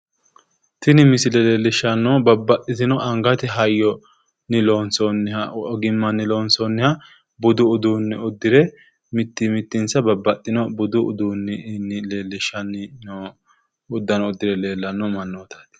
Tini misile leellishshannohu babbaxxitino angate hayyonni loonsoonniha ogimmanni loonsoonniha budu uduunne uddire mitti mittinsa babbaxxino budu uduunninni leellishshanni noo uddano uddire leellanno mannati.